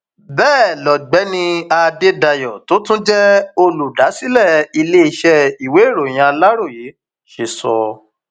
bẹẹ lọgbẹni adédáyò tó tún jẹ olùdásílẹ iléeṣẹ ìwéèròyìn aláròye ṣe sọ